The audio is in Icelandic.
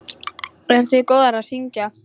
Eruð þið góðar að syngja?